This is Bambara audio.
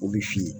O bɛ fin